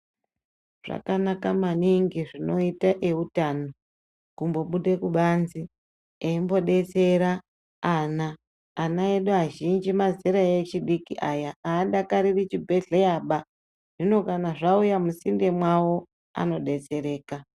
Zvakanaka maningi zvinoita eutano kumbobude kubanze eindodetsera ana ana edu azhinji mazera echidiki aya adakariri chibhedhleyaba zvino kana zvauya musinde mwawo anodetsereka.